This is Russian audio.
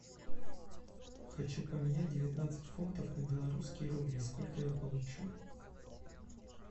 хочу поменять девятнадцать фунтов на белорусские рубли сколько я получу